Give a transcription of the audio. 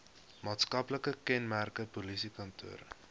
maatskaplike kenmerke polisiekantore